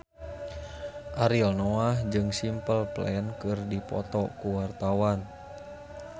Ariel Noah jeung Simple Plan keur dipoto ku wartawan